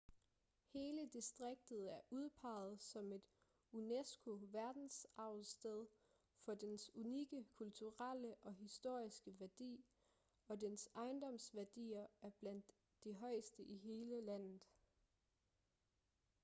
hele distriktet er udpeget som et unesco verdensarvssted for dens unikke kulturelle og historiske værdi og dens ejendomsværdier er blandt de højeste i hele landet